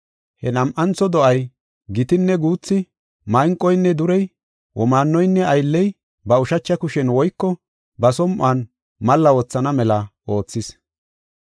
He nam7antho do7ay gitinne guuthi, manqoynne durey, womaanoynne aylley ba ushacha kushen woyko ba som7on malla wothana mela oothis.